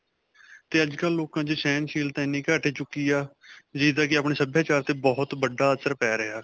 'ਤੇ ਅੱਜਕਲ੍ਹ ਲੋਕਾਂ 'ਚ ਸ਼ਹਨਸ਼ੀਲਤਾ ਐਨੀ ਘੱਟ ਚੁੱਕੀ ਹੈ, ਜਿਦਾ ਕਿ ਆਪਣੇ ਸਭਿਆਚਾਰ 'ਤੇ ਬਹੁਤ ਵੱਡਾ ਅਸਰ ਪੈ ਰਿਹਾ.